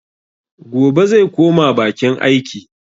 Gobe zai koma bakin aiki.